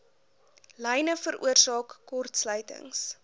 lyne veroorsaak kortsluitings